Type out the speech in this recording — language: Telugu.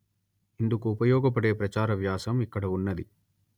ఇందుకు ఉపయోగపడే ప్రచార వ్యాసం ఇక్కడ ఉన్నది